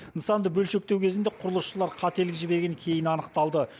нысанды бөлшектеу кезінде құрылысшылар қателік жібергені кейін анықталды